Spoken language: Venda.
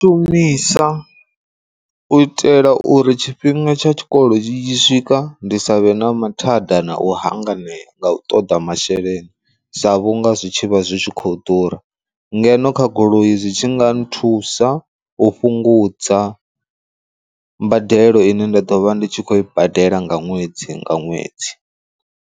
Shumisa u itela uri tshifhinga tsha tshikolo tshi tshi swika ndi savhe na mathada na u hanganea nga u ṱoḓa masheleni sa vhunga zwitshi vha zwi tshi khou khou ḓura, ngeno kha goloi zwi tshi nga nthusa u fhungudza mbadelo ine nda ḓo vha ndi tshi khou i badela nga ṅwedzi nga ṅwedzi.